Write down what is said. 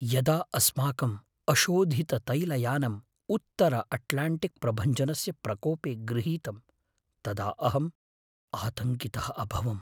यदा अस्माकम् अशोधिततैलयानम् उत्तरअट्लाण्टिक्प्रभञ्जनस्य प्रकोपे गृहीतं तदा अहं आतङ्कितः अभवम्।